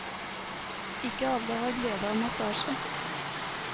Ikke alle har glede av massasje.